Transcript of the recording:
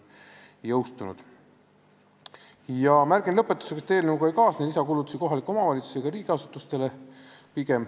Lõpetuseks märgin, et eelnõuga ei kaasne lisakulutusi kohalikele omavalitsustele ega riigiasutustele.